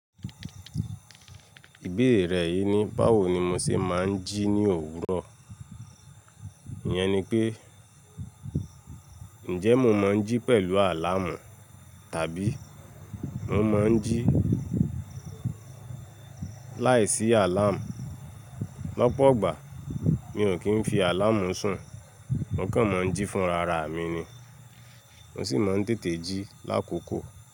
Ìbéèrè rẹ yìí ni báwo ni mo ṣe máa ń jí ní òwúrọ̀. Iyẹn ni pé, ǹjẹ́ mo máa ń jí pẹ̀lú àláàmù tàbí mo máa ń jí láìsí àláàmù. Lọ́pọ̀ igbà, mi ò kí ń fi àláàmù sùn, mo kàn máa ń jí fún rara mi ni, mo sì máa ń tètè jí lákòókò.